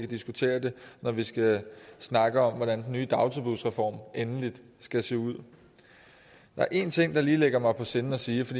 diskutere det når vi skal snakke om hvordan den nye dagtilbudsreform endeligt skal se ud der er en ting der ligger mig på sinde at sige for